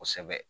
Kosɛbɛ